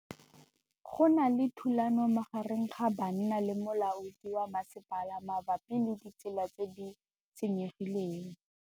Go na le thulanô magareng ga banna le molaodi wa masepala mabapi le ditsela tse di senyegileng.